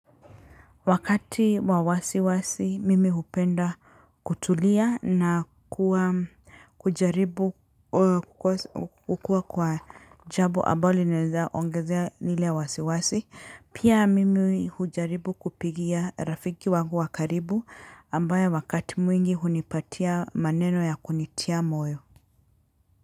Wakati wa wasiwasi mimi hupenda kutulia na kuwa kujaribu kukua kwa jabo abalo linaeza ongezea lile wasiwasi, pia mimi hujaribu kupigia rafiki wangu wa karibu ambaye wakati mwingi hunipatia maneno ya kunitia moyo.